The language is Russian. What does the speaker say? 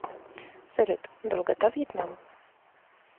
салют долгота вьетнам